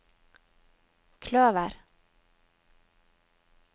kløver